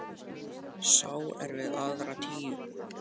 Sá er við aðra tíu.